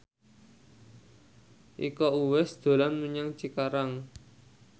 Iko Uwais dolan menyang Cikarang